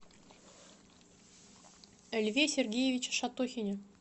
льве сергеевиче шатохине